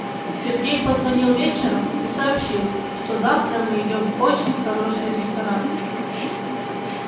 сергей позвонил вечером и сообщил что завтра мы идём в очень хороший ресторан